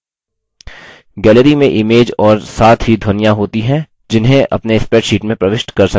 galleryमें image और साथ ही ध्वनियाँ होती हैं जिन्हें अपने spreadsheet में प्रविष्ट कर सकते हैं